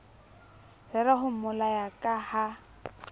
rera ho mmolaya ka ha